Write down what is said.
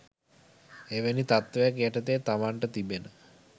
එවැනි තත්වයක් යටතේ තමන්ට තිබෙන